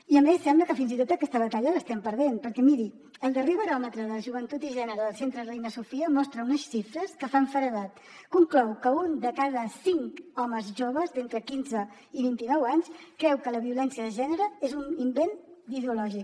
i a més sembla que fins i tot aquesta batalla l’estem perdent perquè miri el darrer baròmetre de la joventut i gènere del centre reina sofia mostra unes xifres que fan feredat conclou que un de cada cinc homes joves d’entre quinze i vint i nou anys creu que la violència de gènere és un invent ideològic